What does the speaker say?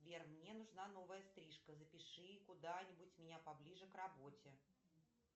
сбер мне нужна новая стрижка запиши куда нибудь меня поближе к работе